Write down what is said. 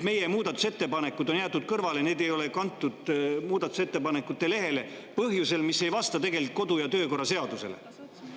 Meie muudatusettepanekud on jäetud kõrvale, neid ei ole kantud muudatusettepanekute lehele põhjusel, mis ei vasta kodu‑ ja töökorra seadusele.